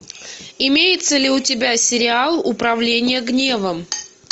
имеется ли у тебя сериал управление гневом